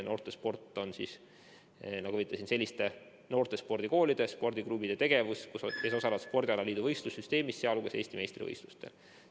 Noortesport on, nagu ma ütlesin, selliste spordikoolide ja spordiklubide tegevus, kes osalevad spordialaliidu võistlussüsteemis, sh Eesti meistrivõistlustel.